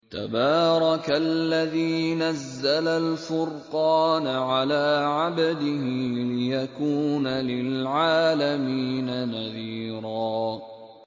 تَبَارَكَ الَّذِي نَزَّلَ الْفُرْقَانَ عَلَىٰ عَبْدِهِ لِيَكُونَ لِلْعَالَمِينَ نَذِيرًا